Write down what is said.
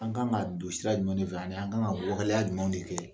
An ka kan ka don sira jumɛn fɛ ? ani an kan ka waleya jumɛn de kɛ?